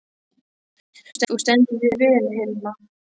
Þú stendur þig vel, Hilma!